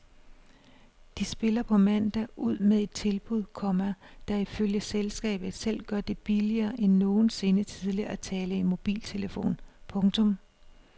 De spiller på mandag ud med et tilbud, komma der ifølge selskabet selv gør det billigere end nogensinde tidligere at tale i mobiltelefon. punktum